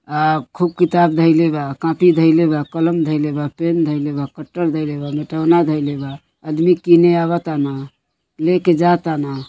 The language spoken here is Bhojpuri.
ह खूब किताब धइले बा कॉपी धइले बा कलम धइले बा पेन धइले बा कटल धइले बा मिटाउना धइले बाआदमी कीने आवतन लेके जातनअ।